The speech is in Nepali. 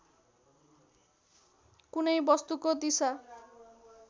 कुनै वस्तुको दिशा